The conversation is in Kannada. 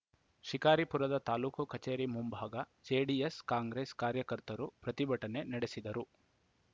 ಶಿಕಾರಿಪುರದ ತಾಲೂಕು ಕಚೇರಿ ಮುಂಭಾಗ ಜೆಡಿಎಸ್‌ಕಾಂಗ್ರೆಸ್‌ ಕಾರ್ಯಕರ್ತರು ಪ್ರತಿಭಟನೆ ನಡೆಸಿದರು